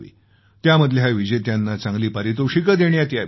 त्यामधल्या विजेत्यांना चांगली पारितोषिकं देण्यात यावीत